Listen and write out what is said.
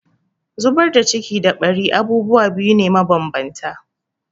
Zubar da ciki da ɓari abubuwa biyu ne mabanbanta.